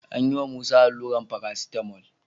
An yiwa Musa allurar paracetamol.